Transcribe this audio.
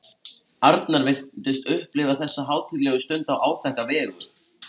Þessir baugar eru merktir inn á flestöll heimskort.